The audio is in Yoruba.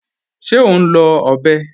Ṣé o n lọ ọ̀bẹ̀?